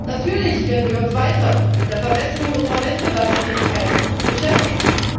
Natürlich werden wir uns weiter mit der Verbesserung unserer Wettbewerbsfähigkeit beschäftigen.